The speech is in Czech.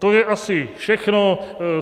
To je asi všechno.